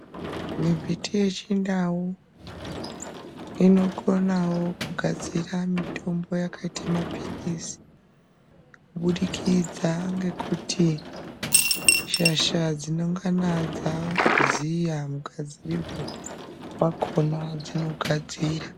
Mimbiti yechindau inokonawo kugadzirawo mitombo yakaita kunga maphiritsi kubudikidza ngekuti shasha dzinongana dzaziya mugadzirirwe wakhona, dzinogadzira.